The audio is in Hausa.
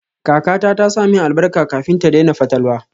Kakata ta sa min albarka kafin ta daina fatalwa.